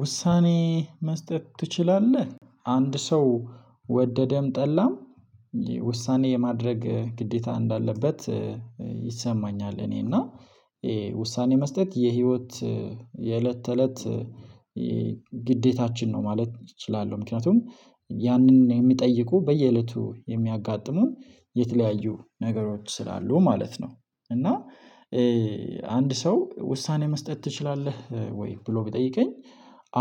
ውሳኔ መስጠት ትችላለህ አንድ ሰው ወደደም ጠላም። ውሳኔ የማድረግ ግዴታ እንዳለበት ይሰማኛል። እኔና ውሳኔ መስጠት የህይወት የዕለተ ተእለት ግዴታችን ነው ማለት እችላለሁ። ምክንያቱም ያንን የሚጠይቁ በየእለቱ የምያጋትሙን የተለያዩ ነገሮች ስላሉ ማለት ነው። እና አንድ ሰው ውሳኔ መስጠት ትችላለህ ወይ ብሎ ቢጠይቀኝ?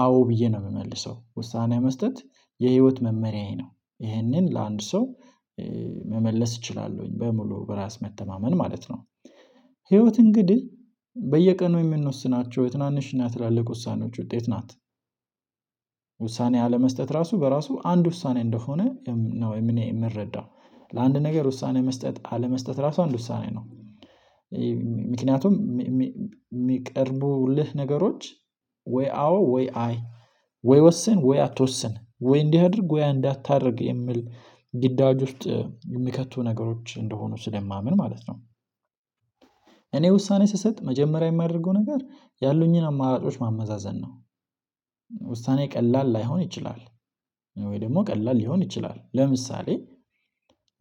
አዎ ብዬ ነው የምመልሰው ውሳኔ መስጠት የህይወት መመሪያዬ ነው ይህንን ለአንድ ሰው መመለስ እችላለሁኝ በሙሉ በራስ መተማመን ማለት ነው። ህይወት እንግዲህ በየቀኑ የምንወስናቸው የትናንሽ እና የትላልቅ ውሳኔዎች ውጤት ናት። ውሳኔ አለመስጠት ራሱ በራሱ አንድ ውሳኔ እንደሆነ ነው እኔ የምረዳው ለአንድ ነገር ውሳኔ መስጠት አለመስጠት ራሱ አንድ ውሳኔ ነው። ምክንያቱም የሚቀርቡልህ ነገሮች ወይ አዎ ወይ አይ ወይ ወስን ወይ አትወስን ወይ እንዲህ አድርግ ወይ እንዳታደርግ የምል ግዳጅ ውስጥ የሚከቱ ነገሮች እንደሆኑ ስለማምን ማለት ነው። እኔ ውሳኔ ስሰጥ መጀመሪያ የማደርገው ነገር ያሉኝን አማራጮች ማመዛዘን ነው። ውሳኔ ቀላል ላይሆን ይችላል ወይ ደግሞ ቀላል ሊሆን ይችላል ለምሳሌ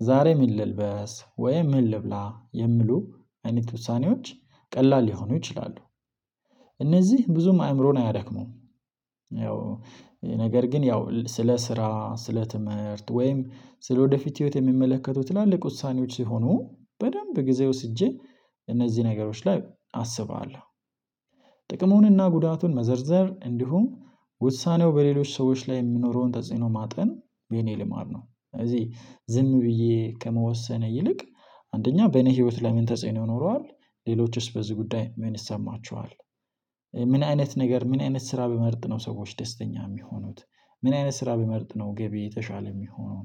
ዛሬ ምን ልልበስ ወይ ምን ልብላ የሚሉ አይነት ውሳኔዎች ቀላል ሊሆኑ ይችላሉ። እነዚህ ብዙም አአምሮን አያደክሜውም ያው ነገር ግን ያው ስለ ስራ ስለ ትምህርት ወይም ስለ ወደፊት ህይወት የሚመለከቱ ትላልቅ ውሳኔዎች ሲሆኑ በደንብ ጊዜ ወስጄ እነዚህ ነገሮች ላይ አስባለሁ። ጥቅሙን እና ጉዳቱን መዘርዘር እንዲሁም ውሳኔው በሌሎች ሰዎች ላይ የሚኖረውን ተጽዕኖ ማጤን የእኔ ልማድ ነው። ስለዚህ ዝም ብዬ ከመወሰነ ይልቅ አንደኛ በእኔ ህይወት ለይ ምን ተጽዕኖ ይኖረዋል ሌሎችስ በዚህ ጉዳይ ምን ይሰማቸዋል? ምን አይነት ነገር ምን አይነት ስራ ብመርጥ ነው ሰዎች ደስተኛ የሚሆኑት ምን አይነት ስራ ብመርጥ ነው ገቢዬ የተሻለ የሚሆነው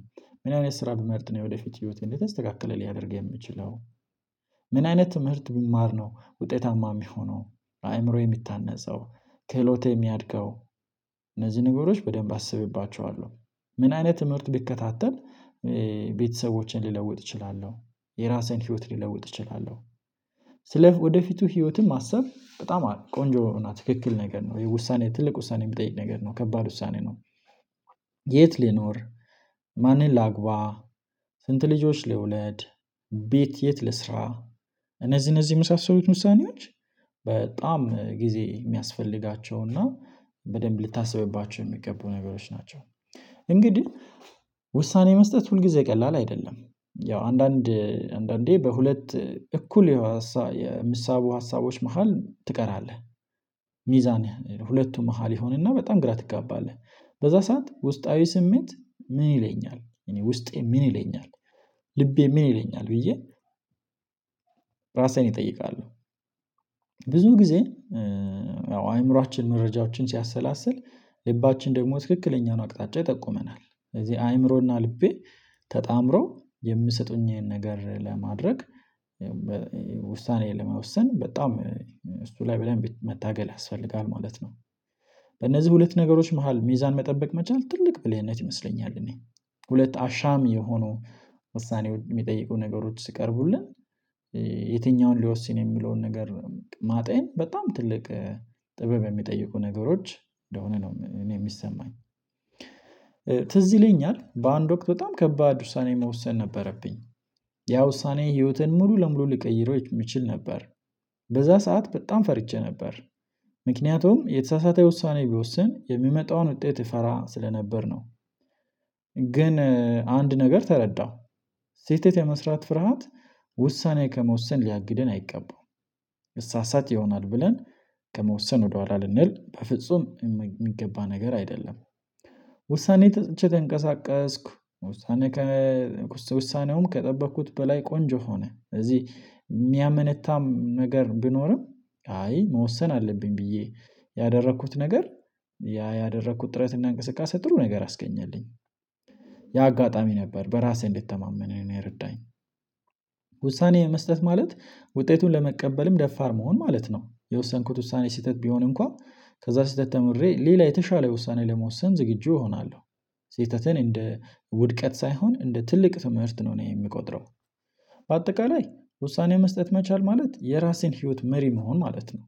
ምን አይነት ስራ ብመርጥ ነው ወደፊት ህይወቴ የተስተካከለ ሊያደርግ የምችለው ምን አይነት ትምህርት ብማር ነው ውጤታማ የሚሆነው አአምሮዬ የምታነፅው ክህሎቴ የሚያድገው እነዚህ ነገሮች በደንብ አስብባቸዋለሁ። ምን አይነት ትምህርት ብከታተል ቤተሰቦችን ሊለውጥ እችላለሁ የራሴን ህይወት ሊለውጥ እችላለሁ። ስለ ወደፊቱ ህይወትም ማሰብ በጣም ቆንጆ ትክክል ነገር ነው የውሳኔ ትልቅ ውሳኔ የሚጠይቅ ነገር ነው ከባድ ውሳኔ ነው። የት ሊኖር ማንን ላግባ ስንት ልጆች ልውለድ? ቤት የት ልስራ? እነዚህ እነዚህ የመሳሰሉት ውሳኔዎች በጣም ጊዜ የሚያስፈልጋቸው በደንብ ልታስብባቸው የሚገቡ ነገሮች ናቸው። እንግዲህ ውሳኔ መስጠት ሁልጊዜ ቀላል አይደለም ያው አንዳንድ አንዳንዴ በሁለት እኩል የምሳቡ ሀሳቦች መሃል ትቀራለህ ሚዛን ሁለቱም መሃል ይሆንና በጣም ግራ ትጋባለህ በዚያ ሰዓት ውስጣዊ ስሜት ምን ይለኛል እኔ ውስጤ ምን ይለኛል ልቤ ምን ይለኛል ብዬ ራሴን እጠይቃለሁ። ብዙ ጊዜ ያው አአምሮአችን መረጃዎችን ሲያሰላስል ለባችን ደግሞ ትክክለኛውን አቅጣጫ ይጠቁመናል ስለዚህ አይምሮና ልቤ ተጣምረው የምሰጡኝ ነገር ለማድረግ ውሳኔ ለመወሰን በጣም እሱ ላይ በደንብ መታገል ያስፈልጋል ማለት ነው። በእነዚህ ሁለት ነገሮች መሃል ሚዛን መጠበቅ መቻል ትልቅ ብልህነት ይመስለኛል። እኔ ሁለት አሻም የሆኑ ውሳኔ የሚጠይቁ ነገሮች ስቀርቡልን የትኛውን ሊወስን የሚለውን ነገር ማጤን በጣም ትልቅ ጥበብ የሚጠይቁ ነገሮች እንደሆነ ነው እኔ የሚሰማኝ። ትዝ ይለኛል በአንድ ወቅት በጣም ከባድ ውሳኔ መወሰን ነበረብኝ ያ ውሳኔ ህይወቴን ሙሉ ለሙሉ ልቀይረው የምችል ነበር በዛ ሰዓት በጣም ፈርቼ ነበር ምክንያቱም የተሳሳተ ውሳኔ ቢወስን የሚመጣውን ውጤት እፈራ ስለነበር ነው። ግን አንድ ነገር ተረዳሁ ስህተት የመስራት ፍርሃት ውሳኔ ከመወሰን ሊያግደን አይገባም። እሳሳት ይሆናል ብለን ከመወሰን ወደህዋላ ልንል በፍጹም የሚገባ ነገር አይደለም። ውሳኔ ሰጥቼ ተንቀሳቀስኩ። ውሳኔ ውሳኔውም ከተበቅኩት በላይ ቆንጆ ሆነ ስለዚህ የምያመነታ ነገር ብኖርም አይ መወሰን አለብኝ ብዬ ያደረኩት ነገር ያ ያደረኩት ጥረት እና እንቅስቃሴ ጥሩ ነገር አስገኛልኝ። ያ አጋጣሚ ነበር በራሴ እንድትተማመን እኔን የረዳኝ ውሳኔ መስጠት ማለት ውጤቱን ለመቀበልም ደፋር መሆን ማለት ነው። የወሰንኩት ውሳኔ ስህተት ቢሆን እንከዋን ከዛ ስህተት ተምሬ ሌላ የተሻለ ውሳኔ ለመወሰን ዝግጁ እሆናለሁ። ስህተቴን እንደ ውድቀት ሳይሆን እንደ ትልቅ ትምህርት ነው እኔ የምቆጥረው። በአጠቃላይ ውሳኔ መስጠት መቻል ማለት የራሴን ህይወት መሪ መሆን ማለት ነው።